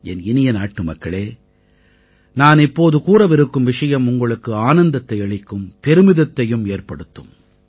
என் இனிய நாட்டுமக்களே நான் இப்போது கூறவிருக்கும் விஷயம் உங்களுக்கு ஆனந்தத்தை அளிக்கும் பெருமிதத்தையும் ஏற்படுத்தும்